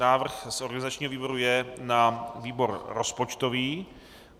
Návrh z organizačního výboru je na výbor rozpočtový.